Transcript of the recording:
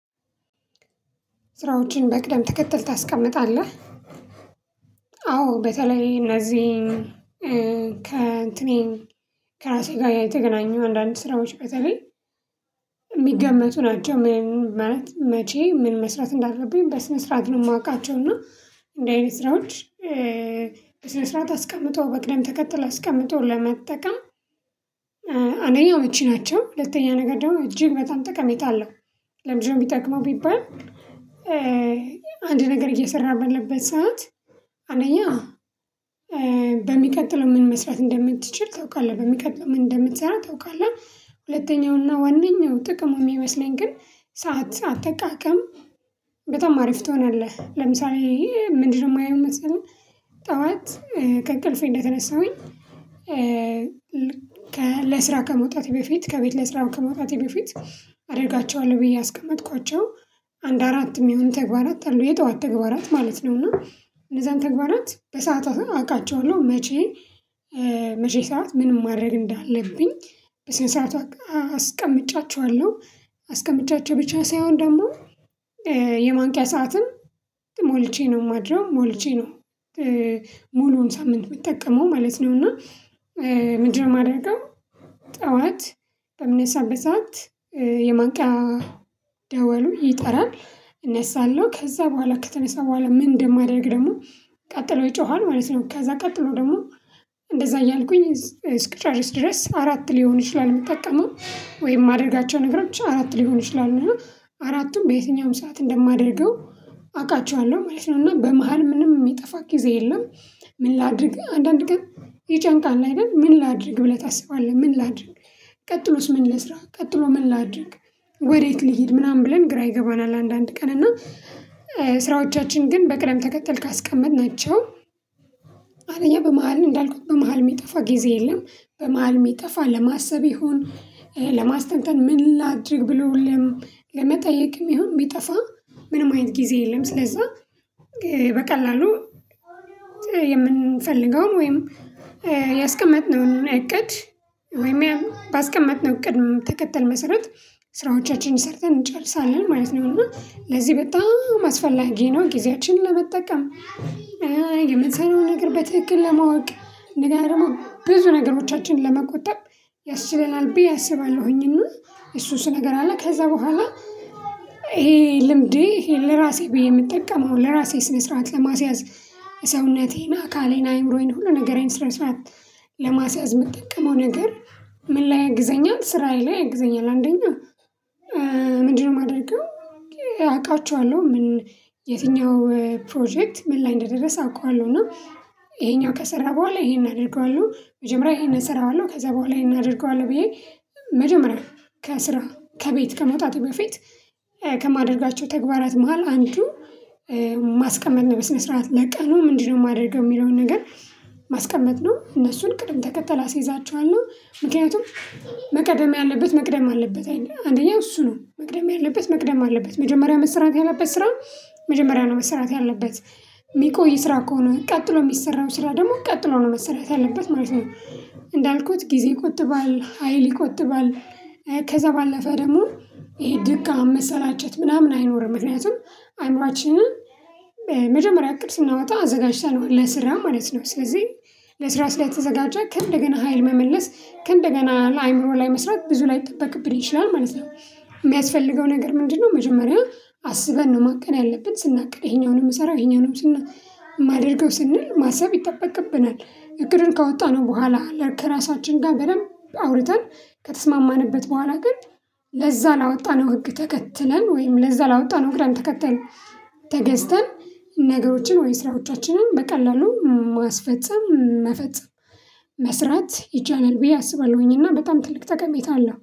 ስራዎችን በቅደም ትከተል ታስቀምጣለህ አዎ በተለይ እነዚህን ከእንትኔን ከራሴ ጋር የተገናኘው አንዳንድ ስራዎች በተበይ የሚገመቱ ናቸው። ምን መቼ ምን መስራት እንዳለብኝ በስነ ስርዓት ነው የማውቃቸው እና እንዲህ አይነት ስራዎች። በስነ ስርዓት አስቀምጦ በቅደም ተከተል አስቀምጦ ለመጠቀም። አንደኛው እመቺናቸው ሁለተኛ ነገር ደግሞ እጅግ በጣም ጥቅም የለውም። ለምን ቢጠቅመው ቢባል? አንድ ነገር እየሰራህ ባለበት ሰዓት አንደኛው በሚቀጥለው ምን መስራት እንደምትችል ታውቃለህ። በሚቀጥለው ምን እንደምትሰራ ታውቃለህ። ሁለተኛውና ዋነኛው ጥቅሙ የሚመስለኝ ግን ሰዓት አጠቃቀም በጣም አሪፍ ትሆናለህ። ለምሳሌ ምንድነው የማየው መሰለኝ ጠዋት ከእቅልፌ እንደተነሳሁኝ። ለስራ ከመውጣቴ በፊት ከቤት ለስራ ከመውጣቴ በፊት አደርጋቸዋለሁ ብዬ ያስቀመጥኳቸው አንድ አራት የሚሆን ተግባራት አሉ የጠዋት ተግባራት ማለት ነው። እና እነዛን ተግባራት በሰአታቸው አውቃቸዋለሁ። መቼ? መቼ ሰዓት ምን ማድረግ እንዳለብኝ በስንት ሰዓት አስቀምጫቸዋለሁ። አስቀምጫችሁ ብቻ ሳይሆን ደግሞ የማንቂያ ሰዓትም ሞልቼ ነው የማድረው ሞልቼ ነው። ሙሉውን ሳምንት የምትጠቀመው ማለት ነው። እና ምንድነው የማደርገው? ጠዋት በምነሳበት ሰዓት የማንቂያ ደወሉ ይጠራል። እነሳለሁ ከዛ በኋላ ከተነሳ በኋላ ምን እንደማደርግ ደግሞ ቀጥሎ ይጮሃል ማለት ነው። ከዛ ቀጥሎ ደግሞ እንደዛ እያልኩኝ እስክጨርስ ድረስ አራት ሊሆን ይችላል የምጠቀመው። ወይም ማድረጋቸው ነገሮች አራት ሊሆን ይችላሉ። አራቱም በየትኛውም ሰዓት እንደማደርገው አውቃቸዋለሁ ማለት ነው። እና በመሃል ምንም የሚጠፋ ጊዜ የለም። ምን ላድርግህ አንዳንድ ቀን ይጨንቃል አይደል ምን ላድርግ ብለህ ታስባለህ ምን ላድርግ ቀጥሎስ ምን ልስራ ቀጥሎ ምን ላድርግ ወዴት ልሂድ ምናምን ብለን ግራ ይገባናል። አንዳንድ ቀን እና ስራዎቻችን ግን በቅደም ተከተል ካስቀመጥናቸው አንደኛኝ በመሃል እንዳልኩት በመሃል የሚጠፋ ጊዜ የለም። በመሃል የሚጠፋ ለማሰብ ይሁን ለማስተንተን ምን ላድርግ ብለው ለመጠየቅም ይሁን ቢጠፋ ምንም አይነት ጊዜ የለም። ስለዛ በቀላሉ የምንፈልገውን ወይም ያስቀመጥነውን እቅድ ወይም ባስቀመጥነው ቅደም ተከተል መሰረት ስራዎቻችንን ሰርተን እንጨርሳለን ማለት ነው። እና ለዚህ በጣም አስፈላጊ ነው። ጊዜያችንን ለመጠቀም የምትሰራውን ነገር በትክክል ለማወቅ እነሰደገና ደግሞ ብዙ ነገሮቻችን ለመቆጠብ ያስችለናል ብዬ አስባለሁኝ። እና እሱ እሱ ነገር አለ ከዛ በኋላ ይሄ ልምዴ ይሄ ለራሴ ብዬ የምጠቀም ነው። ለራሴ ስነስርዓት ለማስያዝ ሰውነቴን አካሌን አይምሮዬን ሁሉ ነገሬን ስነ ስርዓት ለማስያዝ የምትጠቀመው ነገር። ምን ላይ ያግዘኛል ስራዬ ላይ ያግዘኛል። አንደኛ ምንድነው የማደርገው? አውቃችኋለሁ ምን የትኛው ፕሮጀክት ምን ላይ እንደደረሰ አውቃለሁ። እና ይሄኛው ከሰራ በኋላ ይሄን አድርገዋለሁ። መጀመሪያ ይሄን እሰራዋለሁ ከዛ በኋላ ይሄን አድርገዋለሁ። ብዬ መጀመሪያ ከስራ ከቤት ከመውጣቱ በፊት ከማደርጋቸው ተግባራት መሃል አንዱ ማስቀመጥ ነው። በስነ ስርዓት ለቀኑ ምንድነው የማደርገው የሚለውን ነገር ማስቀመጥ ነው። እነሱን ቅድም ተከተል አስይዛቸዋለሁ ምክኒያቱም መቅደም ያለበት መቅደም አለበት አይደል? አንደኛው እሱ ነው መቅደም ያለበት መቅደም አለበት መጀመሪያ መስራት ያለበት ስራ መጀመሪያ ነው መሰራት ያለበት የሚቆይ ስራ ከሆነ ቀጥሎ የሚሰራው ስራ ደግሞ ቀጥሎ ነው መሰራት ያለበት ማለት ነው። እንዳልኩት ጊዜ ይቆጥባል ሀይል ይቆጥባል። ከዛ ባለፈ ደግሞ ይሄ ድካም መሰላቸት ምናምን አይኖርም። ምክንያቱም አይምሮአችንን መጀመሪያ እቅድ ስናወጣ አዘጋጅተነው ለስራ ማለት ነው። ስለዚህ ለስራ ስለተዘጋጀ ከእንደገና ሀይል መመለስ ከእንደገና ለአእምሮ ላይ መስራት ብዙ ላይጠበቅብኝ ይችላል ማለት ነው። የሚያስፈልገው ነገር ምንድነው? መጀመሪያ አስበን ነው ማቀድ ያለብን ስናቅድ ይሄኛውን ነው ምሰራው ይሄኛውን ነው ማደርገው ስንል ማሰብ ይጠበቅብናል። እቅዱን ካወጣነው በኋላ ከራሳችን ጋር በደንብ አውርተን ከተስማማንበት በኋላ ግን ለዛ ላወጣነው ህግ ተከትለን ወይም ለዛ ላወጣነው ግራም ተከተል። ተገዝተን ነገሮችን ወይም ስራዎቻችንን በቀላሉ ማስፈጸም መፈጸም መስራት ይቻላል ብዬ አስባለሁኝ። እና በጣም ትልቅ ጠቀሜታ አለ